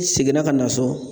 I seginna ka na so